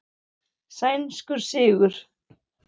Sænskur sigur.